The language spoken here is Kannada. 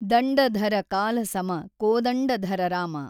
ದಂಡಧರ ಕಾಲಸಮ ಕೋದಂಡಧರ ರಾಮ